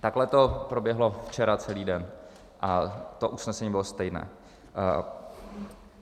Takhle to proběhlo včera celý den a to usnesení bylo stejné.